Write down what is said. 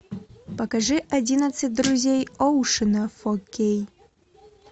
покажи одиннадцать друзей оушена фор кей